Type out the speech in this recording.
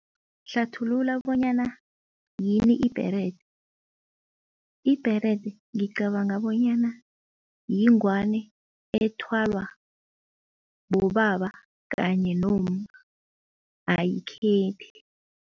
Hlathulula bonyana yini ibherede. Ibherede, ngicabanga bonyana yingwani ethwalwa bobaba kanye nomma ayikhethi.